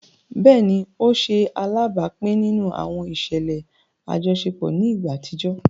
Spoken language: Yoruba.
Béèni, o ṣe alábápin nínú àwọn iṣẹlẹ ajọṣepọ ni ìgbà àtijọ